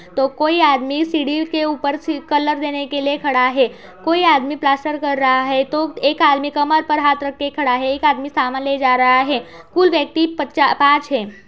तो कोई आदमी सीढ़ी के ऊपर सी कलर देने के लिए खड़ा है। कोई आदमी प्लास्टर कर रहा है तो एक आदमी कमर पर हाथ रख के खड़ा है। एक आदमी सामान ले जा रहा है। कुल व्यक्ति पचा पांच है।